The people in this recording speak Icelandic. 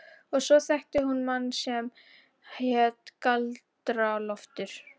Og svo þekkti hún mann sem hét Galdra-Loftur.